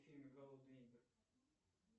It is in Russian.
фильм голодные игры